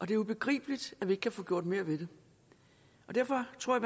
det ubegribeligt at vi ikke kan få gjort mere ved det derfor tror